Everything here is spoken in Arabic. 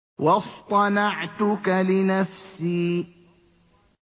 وَاصْطَنَعْتُكَ لِنَفْسِي